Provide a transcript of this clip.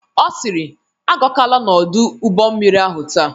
Ọ sịrị "Agakwala n'ọdụ ụgbọmmiri ahụ taa""